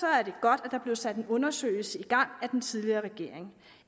er det godt at der blev sat en undersøgelse i gang af den tidligere regering